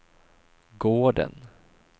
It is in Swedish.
gården